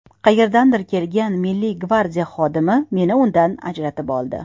Qayerdandir kelgan Milliy gvardiya xodimi meni undan ajratib oldi.